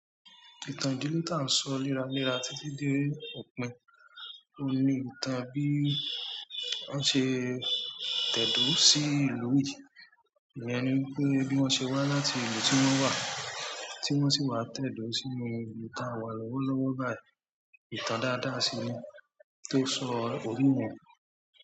Ìtàn ìdílé tí à ń sọ léra léra títí dé òpin ló ni ìtàn bí wọ́n ṣe tẹ̀dó sí ìlú yìí, ìyen ni wípé bí wọ́n ṣe wá láti ìlú tí wọ́n wà, tí wọ́n sì wá tẹ̀dó sí inú ìlú tá a wà lọ́wọ́ lọ́wọ́ báyìí, ìtàn dáadáa sì ni, tó sọ orí mọ̀.